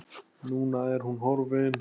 Núna er hún horfin.